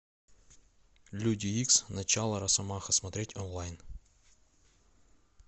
люди икс начало росомаха смотреть онлайн